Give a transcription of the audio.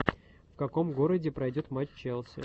в каком городе пройдет матч челси